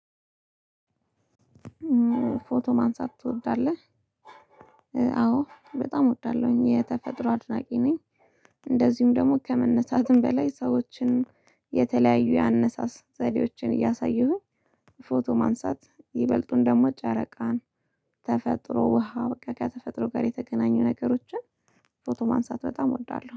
ፎቶ ማንሳት ትወዳለህ? አዎ በጣም እወዳለሁኝ የተፈጥሮ አድናቂ ነኝ። እንደዚሁም ደግሞ ከመነሳትም በላይ ሰዎችን የተለያዩ ያነሳስ ዘዴዎችን እያሳየሁኝ ፎቶ ማንሳት ይበልጡን ደግሞ ጨረቃን። ተፈጥሮ ውሃ በቃ ከተፈጥሮ ጋር የተገናኙ ነገሮችን። ፎቶ ማንሳት በጣም እወዳለሁ